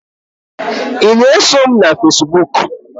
ị na-eso m na Fesibuku?